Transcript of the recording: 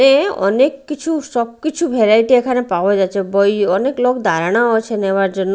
এ অনেক কিছু সবকিছু ভ্যারাইটি এখানে পাওয়া যাচ্ছে বই অনেক লোক দাঁড়ানোও আছে নেওয়ার জন্য।